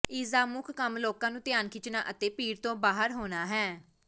ਇਸ ਦਾ ਮੁੱਖ ਕੰਮ ਲੋਕਾਂ ਨੂੰ ਧਿਆਨ ਖਿੱਚਣਾ ਅਤੇ ਭੀੜ ਤੋਂ ਬਾਹਰ ਹੋਣਾ ਹੈ